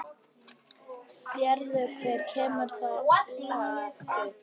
Sérðu hver kemur þarna, lagsi?